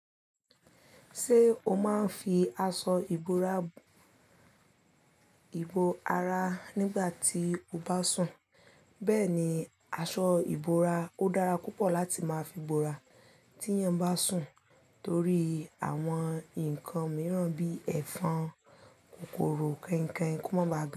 Ṣé o máa ń fi aṣọ ìbora ìbọ ara nígbà tí o bá sùn? Bẹ́ẹ̀ni, aṣọ ìbora ó dára púpọ̀ láti máa fi bora tí èèyàn bá sùn torí àwọn nǹkan mìíràn bí i ẹ̀fọn, kòkòrò kẹinkẹin kó má ba à ga.